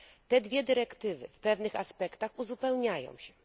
Te dwie dyrektywy w pewnych aspektach uzupełniają się.